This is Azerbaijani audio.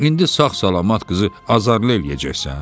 İndi sağ-salamat qızı azarlı eləyəcəksən?